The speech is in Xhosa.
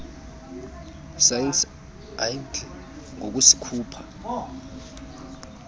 sars ayidli ngokusikhupha